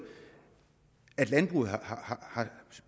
landbruget har